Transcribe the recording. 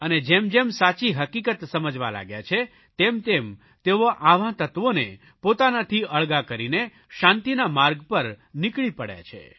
અને જેમજેમ સાચી હકીકત સમજવા લાગ્યા છે તેમતેમ તેઓ આવા તત્વોને પોતાનાથી અળગા કરીને શાંતિના માર્ગ પર નીકળી પડ્યા છે